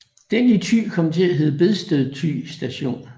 Den i Thy kom til at hedde Bedsted Thy Station